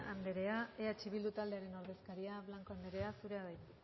andrea eh bildu taldearen ordezkaria blanco andrea zurea da hitza